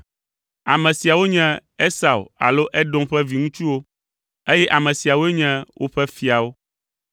Ame siawo nye Esau alo Edom ƒe viŋutsuwo, eye ame siawoe nye woƒe fiawo.